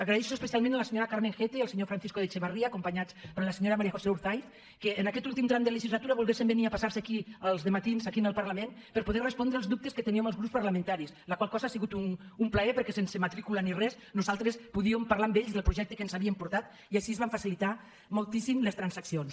agraeixo especialment a la senyora carmen gete i al senyor francisco de echevarría acompanyats per la senyora maría josé urzaiz que en aquest últim tram de legislatura volguessin venir a passar aquí els dematins aquí al parlament per poder respondre els dubtes que teníem els grups parlamentaris la qual cosa ha sigut un plaer perquè sense matrícula ni res nosaltres podíem parlar amb ells del projecte que ens havien portat i així es van facilitar moltíssim les transaccions